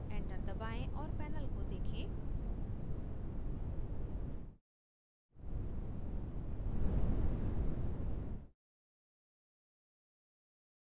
enter दबाएं और panel को देखें